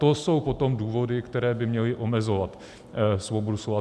To jsou potom důvody, které by měly omezovat svobodu slova.